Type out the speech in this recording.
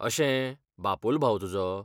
अशें, बापोल भाव तुजो?